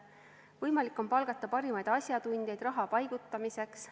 Võimalik on palgata parimaid asjatundjaid raha paigutamiseks.